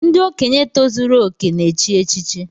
Ndị okenye tozuru okè na echi echichi